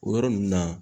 O yɔrɔ ninnu na